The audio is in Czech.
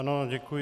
Ano, děkuji.